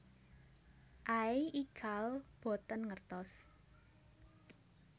Aey ical boten ngertos